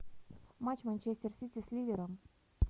матч манчестер сити с ливером